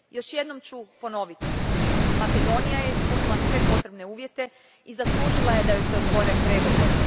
Još jednom ću ponoviti Makedonija je ispunila sve potrebne uvjete i zaslužila je da joj se otvore pregovori.